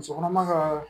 Muso kɔnɔma ka